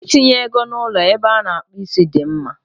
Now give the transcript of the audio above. Itinye ego na ụlọ ebe a na-akpụ isi dị mma.